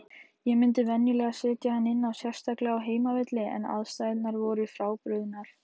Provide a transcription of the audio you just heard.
Ég myndi venjulega setja hann inná, sérstaklega á heimavelli, en aðstæðurnar voru frábrugðnar.